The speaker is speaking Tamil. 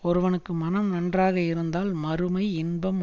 ஒருவனுக்கு மனம் நன்றாக இருந்தால் மறுமை இன்பம்